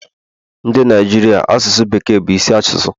Ndị Naijiria asụsụ bekee bu isi asụsụ